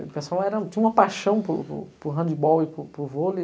educação era um. Eu tinha uma paixão por por por handebol e por por vôlei.